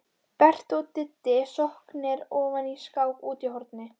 Berti og Diddi sokknir ofan í skák úti í horni.